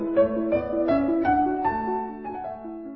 বহু চহৰত বহু এন জি অই যুৱচামৰ ষ্টাৰ্টআপে এই কাম কৰে